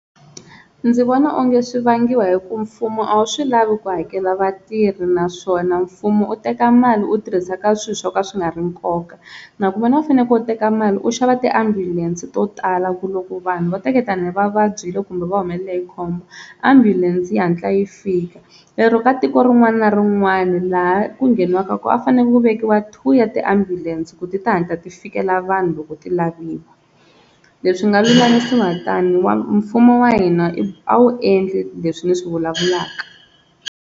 Ndzi vona onge swi vangiwa hi ku mfumo a wu swi lavi ku hakela vatirhi naswona mfumo u teka mali u tirhisa ka swilo swo ka swi nga ri nkoka, na ku u fanele ku u teka mali u xava tiambulense to tala ku loko vanhu va teketelana hi va vabyile kumbe va humelela hi khombo ambulense yi hatla yi fika lero ka tiko rin'wana na rin'wana laha ku ngheniwaku koho a fanele ku vekiwa two ya tiambulense ku ti ti hatla ti fikelela vanhu loko ti laviwa leswi nga lulamisiwa tani wa mfumo wa hina a wu endli leswi ni swi vulavulaka.